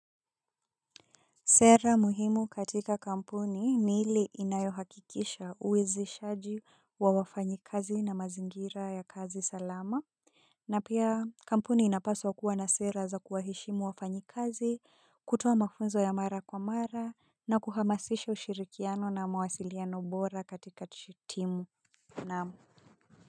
Sera muhimu katika kampuni ni ile inayohakikisha uwezeshaji wa wafanyakazi na mazingira ya kazi salama, na pia kampuni inapaswa kuwa na sera za kuwaheshimu wafanyakazi, kutoa mafunzo ya mara kwa mara, na kuhamasisha ushirikiano na mawasiliano bora katika timu na.